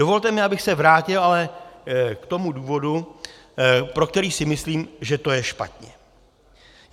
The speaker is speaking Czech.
Dovolte mi, abych se vrátil ale k tomu důvodu, pro který si myslím, že to je špatně.